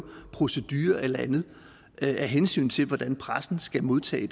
procedurer og alt andet af hensyn til hvordan pressen skal modtage